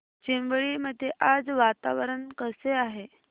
चिंबळी मध्ये आज वातावरण कसे आहे